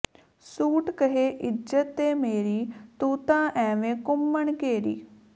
suit ਕਹੇ ਇਜ਼ਤ ਏ ਮੇਰੀ ਤੂੰ ਤਾ ਐਵੇ ਘੂੰਮਣ ਘੇਰੀ